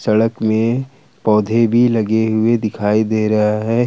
सड़क में पौधे भी लगे हुए दिखाई दे रहा है।